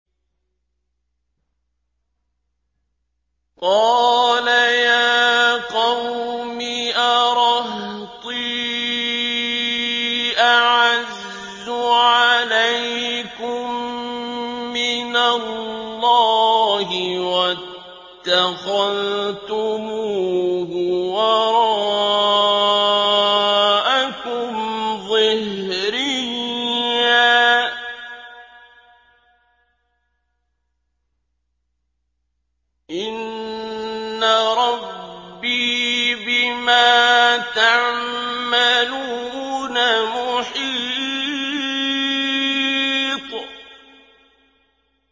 قَالَ يَا قَوْمِ أَرَهْطِي أَعَزُّ عَلَيْكُم مِّنَ اللَّهِ وَاتَّخَذْتُمُوهُ وَرَاءَكُمْ ظِهْرِيًّا ۖ إِنَّ رَبِّي بِمَا تَعْمَلُونَ مُحِيطٌ